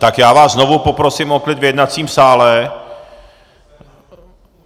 Tak já vás znovu poprosím o klid v jednacím sále.